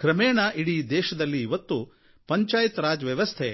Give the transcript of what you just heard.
ಕ್ರಮೇಣ ಇಡೀ ದೇಶದಲ್ಲಿ ಇವತ್ತು ಪಂಚಾಯತ್ ರಾಜ್ ವ್ಯವಸ್ಥೆ